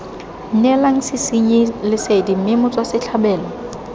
neelang sesenyi lesedi mme motswasetlhabelo